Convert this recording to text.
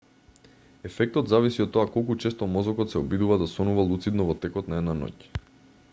ефектот зависи од тоа колку често мозокот се обидува да сонува луцидно во текот на една ноќ